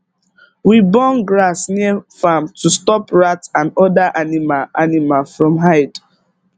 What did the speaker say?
we burn grass near farm to stop rat and other animal animal from hide